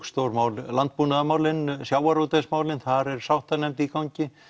stór mál landbúnaðarmálin sjávarútvegsmálin þar er sáttanefnd í gangi